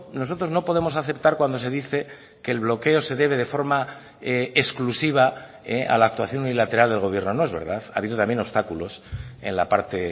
nosotros no podemos aceptar cuando se dice que el bloqueo se debe de forma exclusiva a la actuación unilateral del gobierno no es verdad ha habido también obstáculos en la parte